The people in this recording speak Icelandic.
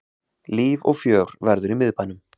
Líf og fjör verður í miðbænum